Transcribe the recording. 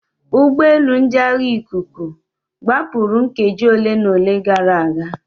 Ụgbọelu ndị agha ikuku gbapụrụ nkeji ole na ole gara aga.